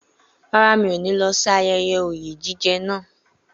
Rárá, mi ò ní lọ sí ayẹyẹ oyè jíjẹ náà